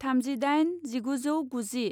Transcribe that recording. थामजि दाइन जिगुजौगुजि